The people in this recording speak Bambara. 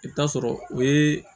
I bɛ taa sɔrɔ o ye